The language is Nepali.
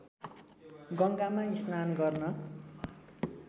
गङ्गामा स्नान गर्न